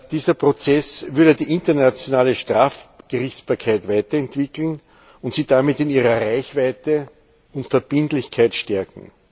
Dieser Prozess würde die internationale Strafgerichtsbarkeit weiterentwickeln und sie damit in ihrer Reichweite und Verbindlichkeit stärken.